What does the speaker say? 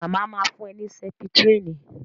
Màmá ma fún ẹ ní Sẹ́pítírínì